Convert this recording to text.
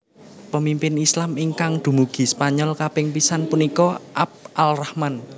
Pemimpin Islam ingkang dumugi Spanyol kaping pisan punika Abd al Rahman